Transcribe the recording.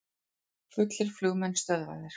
Fullir flugmenn stöðvaðir